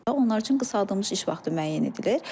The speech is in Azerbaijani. onlar üçün qısaldılmış iş vaxtı müəyyən edilir.